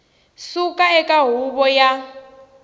suka eka huvo yo ka